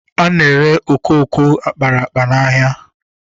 Ana ere okooko akpara akpa n'ahịa